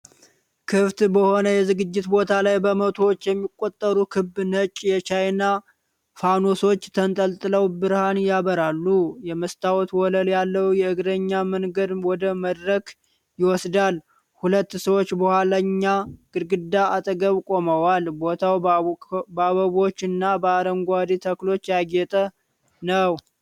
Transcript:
ክፍት በሆነ የዝግጅት ቦታ ላይ፣ በመቶዎች የሚቆጠሩ ክብ ነጭ የቻይና ፋኖሶች ተንጠልጥለው ብርሃን ያበራሉ። የመስታወት ወለል ያለው የእግረኛ መንገድ ወደ መድረክ ይወስዳል፣ ሁለት ሰዎች በኋለኛ ግድግዳ አጠገብ ቆመዋል። ቦታው በአበቦች እና በአረንጓዴ ተክሎች ያጌጠ ነው።